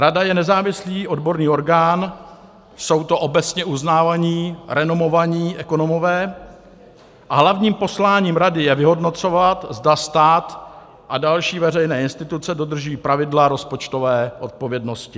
Rada je nezávislý odborný orgán, jsou to obecně uznávaní, renomovaní ekonomové a hlavním posláním rady je vyhodnocovat, zda stát a další veřejné instituce dodržují pravidla rozpočtové odpovědnosti.